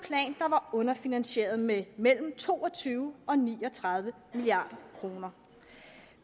var underfinansieret med mellem to og tyve og ni og tredive milliard kroner